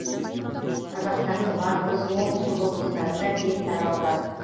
қазақстанның батыс оңтүстік облыстарында кең таралған